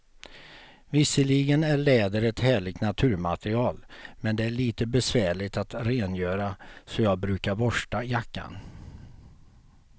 Visserligen är läder ett härligt naturmaterial, men det är lite besvärligt att rengöra, så jag brukar borsta jackan.